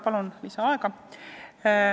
Palun lisaaega!